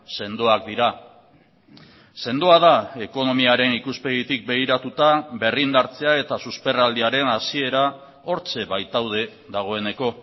sendoak dira sendoa da ekonomiaren ikuspegitik begiratuta berrindartzea eta susperraldiaren hasiera hortxe baitaude dagoeneko